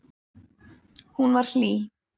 Hún var hlý.